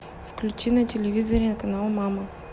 включи на телевизоре канал мама